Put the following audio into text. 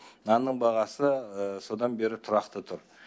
нанның бағасы содан бері тұрақты тұр